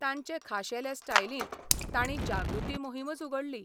तांचे खाशेले स्टायलींत तांणी जागृती मोहीमूच उगडली.